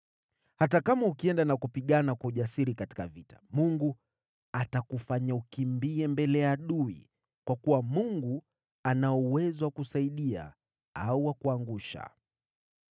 Hata kama ukienda na kupigana kwa ujasiri katika vita, Mungu atakufanya ukimbie mbele ya adui, kwa kuwa Mungu anao uwezo wa kusaidia au wa kuangusha.”